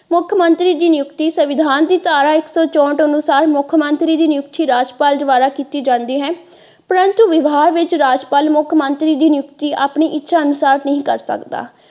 ਮੁੱਖ ਮੰਤਰੀ ਦੀ ਨਿਯੁਕਤੀ ਦੀ ਸੰਵਿਧਾਨ ਦੀ ਧਾਰਾ ਇੱਕ ਸੋ ਚੌਂਹਠ ਅਨੁਸਾਰ ਮੁੱਖ ਮੰਤਰੀ ਦੀ ਨਿਯੁਕਤੀ ਰਾਜਪਾਲ ਦੁਆਰਾ ਕੀਤਾ ਜਾਂਦੀ ਹੈ ਪਰੰਤੂ ਵਿਭਾਗ ਵਿੱਚ ਰਾਜਪਾਲ ਮੁੱਖ ਮੰਤਰੀ ਦੀ ਨਿਯੁਕਤੀ ਆਪਣੀ ਇੱਛਾ ਅਨੁਸਾਰ ਨਹੀਂ ਕਰ ਸਕਦਾ।